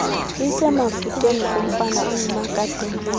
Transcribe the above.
isemafutheni kumfana ongumakadenetha